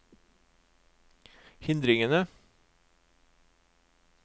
hindringene